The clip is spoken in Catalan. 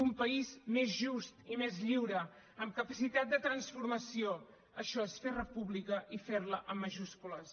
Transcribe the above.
un país més just i més lliure amb capacitat de transformació això és fer república i fer la amb majúscules